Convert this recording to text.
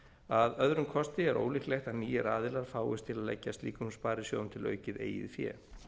að öðrum kosti er ólíklegt að nýir aðilar fáist til að leggja slíkum sparisjóðum til aukið eigið fé